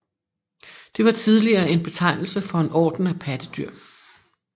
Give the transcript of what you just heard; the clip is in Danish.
Det var tidligere en betegnelse for en orden af pattedyr